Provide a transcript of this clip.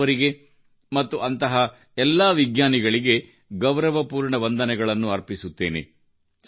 ರಾಮನ್ ಅವರಿಗೆ ಮತ್ತು ಅಂತಹ ಎಲ್ಲಾ ವಿಜ್ಞಾನಿಗಳಿಗೆ ಗೌರವಪೂರ್ಣ ವಂದನೆಗಳನ್ನು ಅರ್ಪಿಸುತ್ತೇನೆ